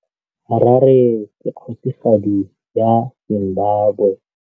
Harare ke kgosigadi ya Zimbabwe.